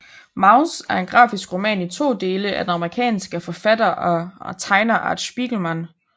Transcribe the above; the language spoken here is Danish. Maus er en grafisk roman i to dele af den amerikanske forfatter og tegner Art Spiegelman